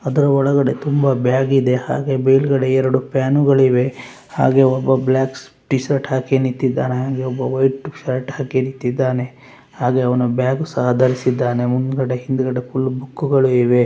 ಅದರ ಒಳಗಡೆ ತುಂಬಾ ಬ್ಯಾಗ್‌ ಇದೆ ಹಾಗೇ ಮೇಲುಗಡೆ ಎರಡು ಪ್ಯಾನ್‌ ಗಳಿವೆ ಹಾಗೆ ಒಬ್ಬ ಬ್ಲಾಕ್‌ ಟೀ ಶರ್ಟ್‌ ಹಾಕಿ ನಿಂತಿದ್ದಾನೆ ಹಾಗೆ ಒಬ್ಬ ವೈಟ್‌ ಶರ್ಟ್‌ ಹಾಕಿ ನಿಂತಿದ್ದಾನೆ ಹಾಗೆ ಅವನು ಬ್ಯಾಗ್ ಸಹ ಧರಿಸಿದ್ದಾನೆ ಮುಂದುಗಡೆ ಹಿಂದುಗಡೆ ಫುಲ್‌ ಬುಕ್‌ ಗಳು ಇವೆ.